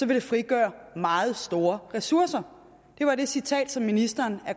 vil det frigøre meget store ressourcer det var det citat som ministeren